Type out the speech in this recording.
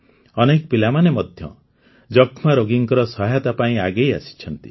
ଅନେକ ପିଲାମାନେ ମଧ୍ୟ ଯକ୍ଷ୍ମାରୋଗୀଙ୍କ ସହାୟତା ପାଇଁ ଆଗେଇ ଆସିଛନ୍ତି